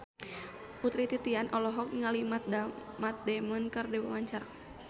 Putri Titian olohok ningali Matt Damon keur diwawancara